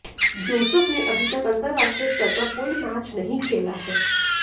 Joseph ने अभी तक अंतरराष्ट्रीय स्तर का कोई मैच नहीं खेला है